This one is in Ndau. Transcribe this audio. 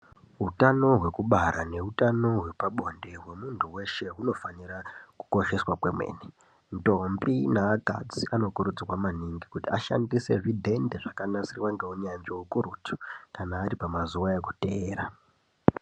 Utano hwekubara neutano hwepabonde hwemuntu weshe hunofanira kukosheswa kwemene ntombi neakadzi anokurudzirwa maningi kuti ashandise zvidhende zvakanasirwa ngeunyanzvi ukurutu kana ari pamazuwa ekuteera.